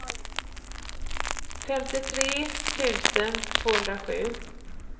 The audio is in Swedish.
femtiotre tusen tvåhundrasju